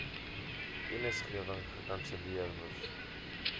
kennisgewing gekanselleer moes